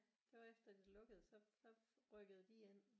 Det var efter det lukkede så så rykkede de ind